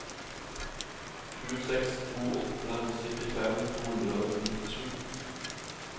sju seks to åtte syttifem to hundre og nittisju